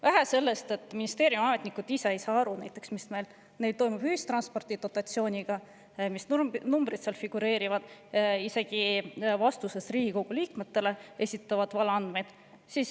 Vähe sellest, et ministeeriumiametnikud ei saa ise ka aru, mis toimub ühistranspordi dotatsiooniga, mis numbrid neil seal figureerivad, esitavad nad isegi vastuses Riigikogu liikmetele valeandmeid.